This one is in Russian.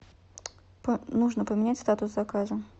нужно поменять статус заказа